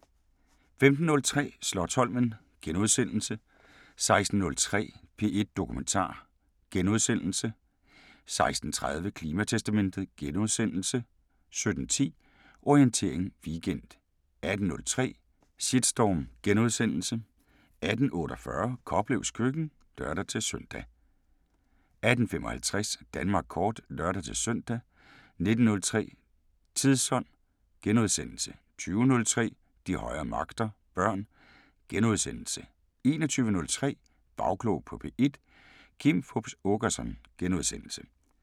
15:03: Slotsholmen * 16:03: P1 Dokumentar * 16:30: Klimatestamentet * 17:10: Orientering Weekend 18:03: Shitstorm * 18:48: Koplevs Køkken (lør-søn) 18:55: Danmark Kort (lør-søn) 19:03: Tidsånd * 20:03: De højere magter: Børn * 21:03: Bagklog på P1: Kim Fupz Aakerson *